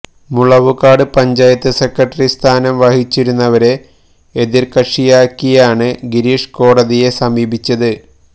Mulavukad panchayat secretary സ്ഥാനം വഹിച്ചിരുന്നവരെ എതിർകക്ഷിയാക്കിയാണ് ഗിരീഷ് കോടതിയെ സമീപിച്ചത്